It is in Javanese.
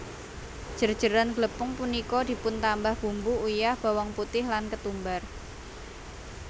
Jer jeran glepung punika dipuntambah bumbu uyah bawang putih lan ketumbar